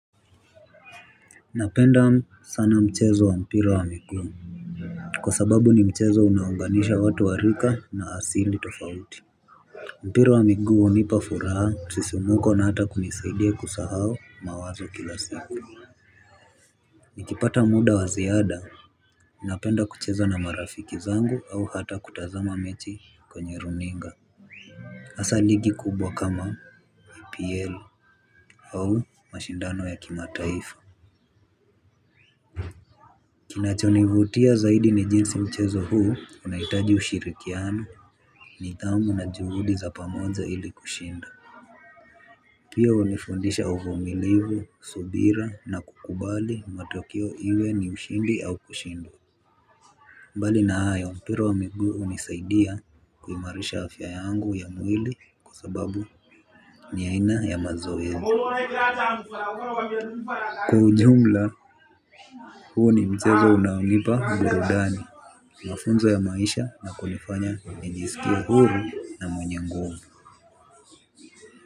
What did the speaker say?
Napenda sana mchezo wa mpira wa miguu kwa sababu ni mchezo unaounganisha watu wa rika na asili tofauti. Mpira wa miguu hunipa furaha, msisimko, na hata kunisaidia kusahau mawazo kila siku. Nikipata muda wa ziada, napenda kucheza na marafiki zangu au hata kutazama mechi kwenye runinga. Hasa ligi kubwa kama PL au mashindano ya kimataifa. Kinachonivutia zaidi ni jinsi mchezo huu unahitaji ushirikiano, nidhamu na juhudi za pamoja ili kushinda. Pia hunifundisha uvumilivu, subira, na kukubali matokeo, iwe ni ushindi au kushindwa. Mbali na hayo, mpira wa miguu hunisaidia kuimarisha afya yangu ya mwili kwa sababu ni aina ya mazoezi. Kwa ujumla, huu ni mchezo unaonipa burudani mafunzo ya maisha na kunifanya nijisikie huru na mwenye nguvu.